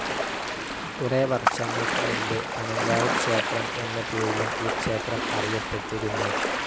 കുറേ വർഷങ്ങൾക് മുൻപ് പനങ്കാവ് ക്ഷേത്രം എന്ന പേരിലും ഈ ക്ഷേത്രം അറിയപ്പെട്ടിരുന്നു.